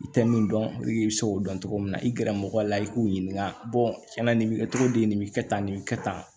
I tɛ min dɔn i bɛ se k'o dɔn cogo min na i gɛrɛmɔgɔ la i k'u ɲininka tiɲɛna nin bɛ kɛ cogo di nin bɛ kɛ tan nin bɛ kɛ tan